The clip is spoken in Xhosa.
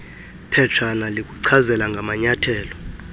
phetshana likuchazela ngamanyathelo